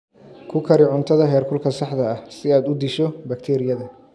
Ku kari cuntada heerkulka saxda ah si aad u disho bakteeriyada.